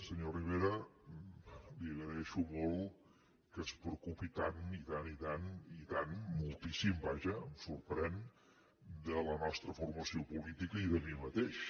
senyor rivera li agraeixo molt que es preocupi tant i tant i tant i tant moltíssim vaja em sorprèn de la nostra formació política i de mi mateix